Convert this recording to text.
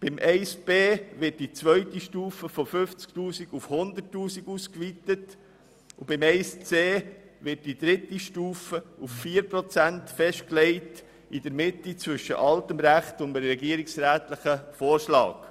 In Buchstabe b wird die zweite Stufe von 50 000 auf 100 000 Franken ausgeweitet, und in Buchstabe c wird die dritte Stufe auf 4 Prozent festgelegt, in der Mitte zwischen dem alten Recht und dem regierungsrätlichen Vorschlag.